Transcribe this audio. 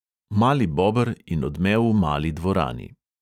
Mali bober in odmev v mali dvorani.